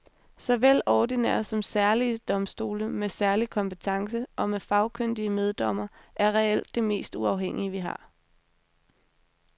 Såvel ordinære som særlige domstole med særlig kompetence og med fagkyndige meddommere er reelt det mest uafhængige vi har.